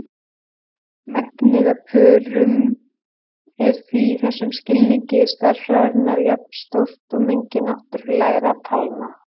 Mengið af pörum er því í þessum skilningi stærðfræðinnar jafnstórt og mengi náttúrlegra talna.